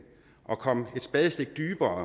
at komme et spadestik dybere